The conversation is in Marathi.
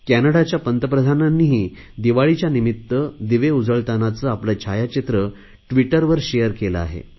कॅनडाच्या पंतप्रधानांनीही दिवाळीच्या निमित्त दिवे उजळतांनाचे आपले छायाचित्र ट्विटरवर शेअर केले आहे